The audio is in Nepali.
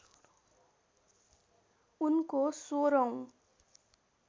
उनको १६ औँ